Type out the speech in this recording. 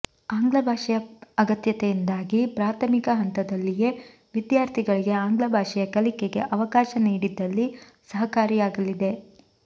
ಆಂಗ್ಲ ಭಾಷೆಯ ಅಗತ್ಯತೆಯಿಂದಾಗಿ ಪ್ರಾಥಮಿಕ ಹಂತದಲ್ಲಿಯೇ ವಿದ್ಯಾರ್ಥಿಗಳಿಗೆ ಆಂಗ್ಲ ಭಾಷೆಯ ಕಲಿಕೆಗೆ ಅವಕಾಶ ನೀಡಿದಲ್ಲಿ ಸಹಕಾರಿಯಾಗಲಿದೆ